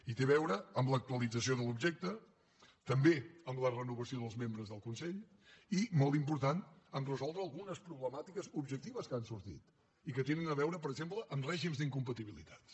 i té a veure amb l’actualització de l’objecte també amb la renovació dels membres del consell i molt important amb el fet de resoldre algunes problemàtiques objectives que han sortit i que tenen a veure per exemple amb règims d’incompatibilitats